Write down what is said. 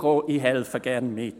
Ich helfe gerne mit.